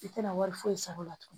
I tɛna wari foyi sɔrɔ o la tugun